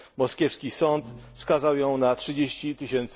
Moskiewski sąd skazał ją na 30 tys.